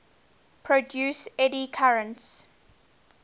produce eddy currents